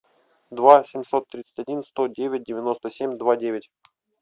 два семьсот тридцать один сто девять девяносто семь два девять